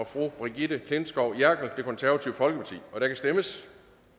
brigitte klintskov jerkel og der kan stemmes